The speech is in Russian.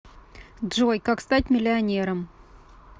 джой как стать миллионером